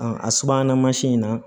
a subahana mansin in na